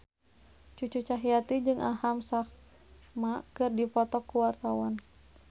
Cucu Cahyati jeung Aham Sharma keur dipoto ku wartawan